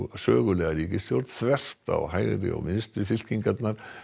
sögulega ríkisstjórn þvert á hægri og vinstri fylkingarnar